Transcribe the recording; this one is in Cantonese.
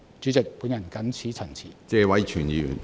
主席，我謹此陳辭。